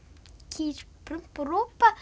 kýr ropa